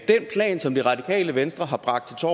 som det radikale venstre har bragt til